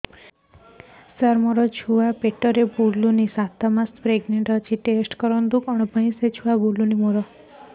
ସାର ମୋର ଛୁଆ ପେଟରେ ବୁଲୁନି ସାତ ମାସ ପ୍ରେଗନାଂଟ ଅଛି ଟେଷ୍ଟ କରନ୍ତୁ